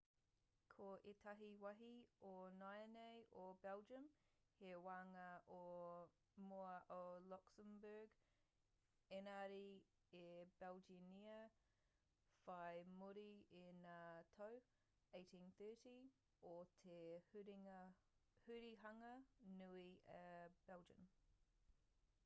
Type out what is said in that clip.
ko ētahi wāhi o nāianei o belgium he wāhanga o mua o luxembourg ēngari i belgianngia whai muri i ngā tau 1830 o te hurihanga nui a belgian